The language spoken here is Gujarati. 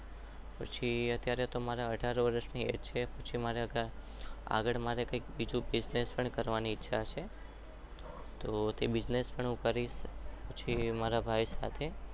પછી અત્યરે તો મારા અધર વરસ થઇ ગયા છે.